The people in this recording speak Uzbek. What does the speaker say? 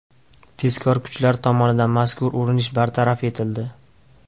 Tezkor kuchlar tomonidan mazkur urinish bartaraf etildi.